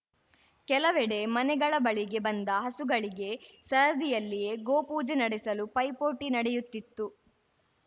ಕೆಲವೆಡೆ ಮನೆಗಳ ಬಳಿಗೆ ಬಂದ ಹಸುಗಳಿಗೆ ಸರದಿಯಲ್ಲಿಯೇ ಗೋ ಪೂಜೆ ನಡೆಸಲು ಪೈಪೋಟಿ ನಡೆಯುತ್ತಿತ್ತು